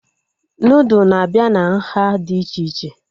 Nudụ na-abịa na nhá dị iche iche